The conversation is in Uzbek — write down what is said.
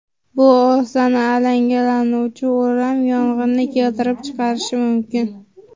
Bu oson alangalanuvchi o‘ram yong‘inni keltirib chiqarishi mumkin.